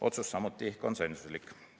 Otsus samuti konsensuslik.